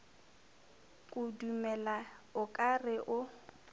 kudumela o ka re o